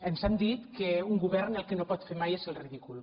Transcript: ens han dit que un govern el que no pot fer mai és el ridícul